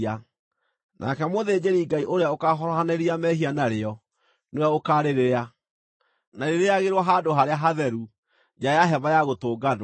Nake mũthĩnjĩri-Ngai ũrĩa ũkaahorohanĩria mehia narĩo nĩwe ũkaarĩrĩa; na rĩrĩĩagĩrwo handũ harĩa hatheru, nja ya Hema-ya-Gũtũnganwo.